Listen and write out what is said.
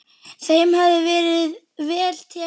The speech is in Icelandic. Þeim hafi verið vel tekið.